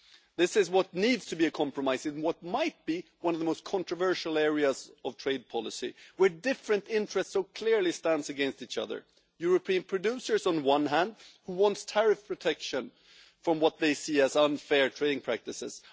This is what needs to be a compromise, in what might be one of the most controversial areas of trade policy, where different interests so clearly stand against each other European producers on the one hand, who want tariff protection from what they see as unfair trading practices